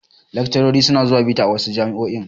Laccarori su na zuwa bita a wasu jami'o'i